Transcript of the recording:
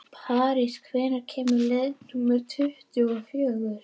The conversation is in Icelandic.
París, hvenær kemur leið númer tuttugu og fjögur?